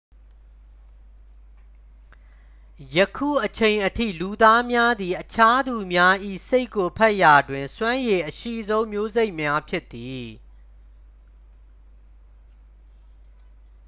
ယခုအချိန်အထိ လူသားများသည် အခြားသူများ၏ စိတ်ကိုဖတ်ရာတွင် စွမ်းရည်အရှိဆုံး မျိုးစိတ်များ ဖြစ်သည်